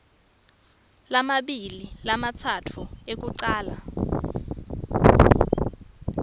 lamabili lamatsatfu ekucala